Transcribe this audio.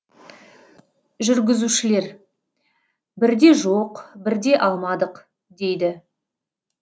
жүргізушілер бірде жоқ бірде алмадық дейді